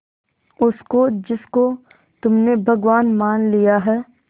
उसको जिसको तुमने भगवान मान लिया है